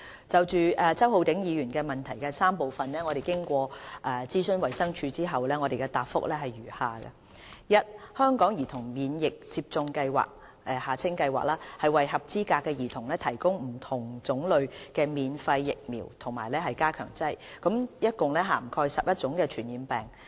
就周浩鼎議員質詢的3部分，經諮詢衞生署後，謹答覆如下：一香港兒童免疫接種計劃為合資格的兒童提供不同種類及免費的疫苗和加強劑，共涵蓋11種傳染病。